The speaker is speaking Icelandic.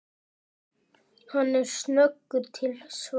Hann er snöggur til svars.